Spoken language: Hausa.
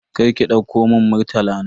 Karki dauka mun Murtala na.